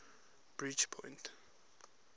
bridgepoint